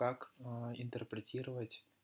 как интерпретировать